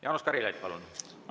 Jaanus Karilaid, palun!